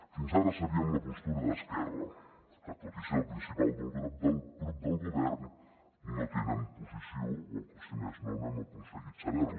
fins ara sabíem la postura d’esquerra que tot i ser el principal grup del govern no tenen posició o si més no no hem aconseguit saber la